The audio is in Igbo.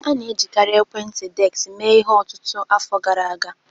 A na-ejikarị ekwentị desk mee ihe ọtụtụ afọ gara aga